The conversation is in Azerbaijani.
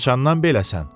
Haçandan beləsən?